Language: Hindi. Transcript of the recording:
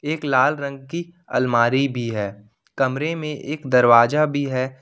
एक लाल रंग की अलमारी भी है कमरे में एक दरवाजा भी है।